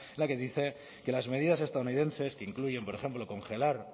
la que dice que las medidas estadounidenses que incluyen por ejemplo congelar